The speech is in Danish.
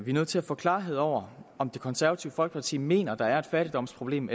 er nødt til at få klarhed over om det konservative folkeparti mener at der er et fattigdomsproblem